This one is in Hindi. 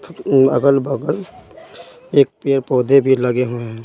अगल-बगल एक पेड़ पौधे भी लगे हुए हैं।